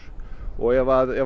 ef